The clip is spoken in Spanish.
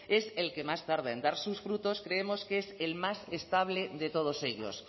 es el que más tarda en dar sus frutos creemos que es el más estable de todos ellos